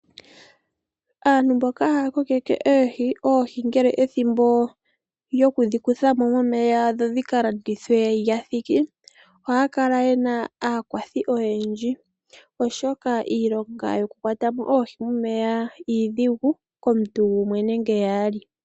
Aantu mboka haya kokeke oohi ngele ethimbo lyokudhi kutha mo momeya dho dhi ka landithwe ngele dha thiki ohaa kala ye na aakwathi oyendji, oshoka iilonga yokukwata mo oohi momeya iidhigu komuntu gumwe nenge yaali.